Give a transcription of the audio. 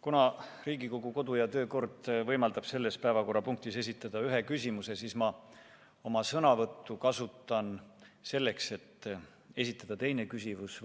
Kuna Riigikogu kodu‑ ja töökord võimaldab selles päevakorrapunktis esitada ühe küsimuse, siis ma kasutan oma sõnavõttu selleks, et esitada teine küsimus,